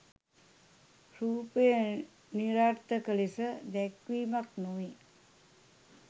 රූපය නිරර්ථක ලෙස දැක්වීමක් නො වේ.